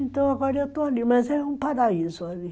Então agora eu estou ali, mas é um paraíso ali.